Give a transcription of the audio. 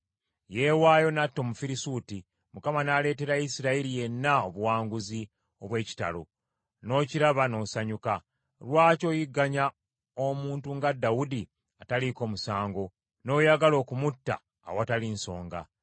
Yeewaayo n’atta Omufirisuuti; Mukama n’aleetera Isirayiri yenna, obuwanguzi obw’ekitalo, n’okiraba n’osanyuka. Lwaki oyigganya omuntu nga Dawudi ataliiko musango, n’oyagala okumutta awatali nsonga?”